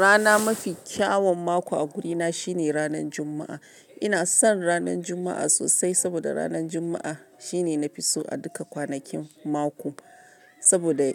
Rana mafi kyaun mako a guri na shine ranan Juma'a. Ina son ranan Juma'a sosai saboda ranan Juma'a shine na fi so a duka kwanakin mako. Saboda